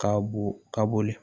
Ka bo ka boli